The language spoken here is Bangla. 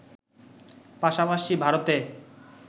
পাশাপাশি ভারতে